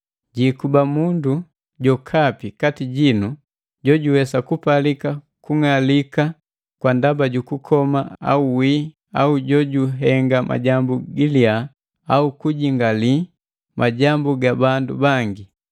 Jiikuba mundu jokapi kati jinu jojuwe jupalika kung'alika kwa ndaba jukukoma au wii au jojuhenga majambu gilia au kujingali majambu ga bandu bangi.